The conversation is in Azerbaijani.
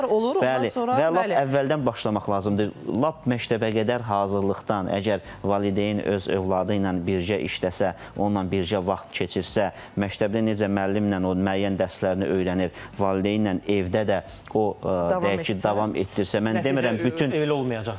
Bəli, və lap əvvəldən başlamaq lazımdır, lap məktəbə qədər hazırlıqdan əgər valideyn öz övladı ilə birgə işləsə, onunla birgə vaxt keçirsə, məktəbdə necə müəllimlə o müəyyən dərslərini öyrənir, valideynlə evdə də o deyək ki, davam etdirsə, mən demirəm bütün öylə olmayacaq.